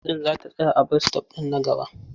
Bas ɗin za ta tsaya a bas-sitop na gaba.